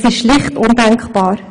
Das ist schlicht undenkbar.